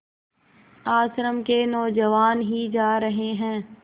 आश्रम के नौजवान ही जा रहे हैं